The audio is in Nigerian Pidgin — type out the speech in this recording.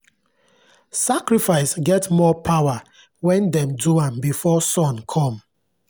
sacrifice get more power when dem do am before sun come.